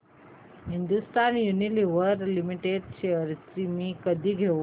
Hindustan Unilever limited shares मी कधी घेऊ